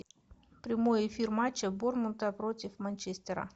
прямой эфир матча борнмута против манчестера